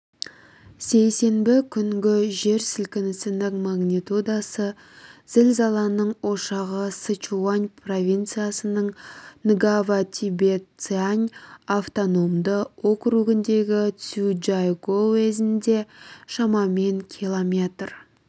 сейсенбі күнгі жер сілкінісінің магнитудасы зілзаланың ошағы сычуань провинцияның нгава-тибет-цян автономды округіндегі цзючжайгоу уезінде шамамен километр